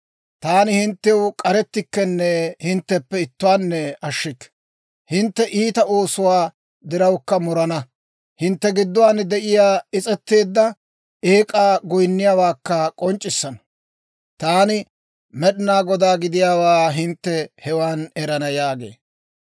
Taani hinttew k'arettikkenne hintteppe ittuwaanne ashshikke. Hintte iita oosuwaa dirawukka murana; hintte giduwaan de'iyaa is's'eteedda eek'aa goynnuwaakka k'onc'c'isana. Taani Med'inaa Godaa gidiyaawaa hintte hewan erana› yaagee.